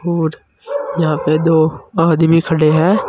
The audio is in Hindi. और यहां पे दो आदमी खड़े हैं।